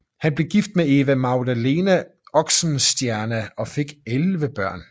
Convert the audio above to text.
Han blev gift med Eva Magdalena Oxenstierna og fik elleve børn